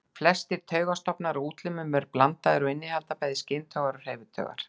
Flestir taugastofnar á útlimum eru blandaðir og innihalda bæði skyntaugar og hreyfitaugar.